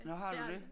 Nå har du det?